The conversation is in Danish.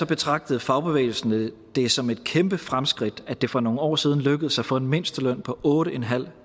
betragtede fagbevægelsen det som et kæmpe fremskridt at det for nogle år siden lykkedes at få en mindsteløn på otte